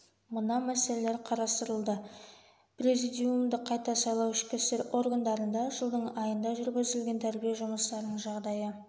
мына мәселелер қарастырылды президиумды қайта сайлау ішкі істер органдарында жылдың айында жүргізілген тәрбие жұмыстарының жағдайы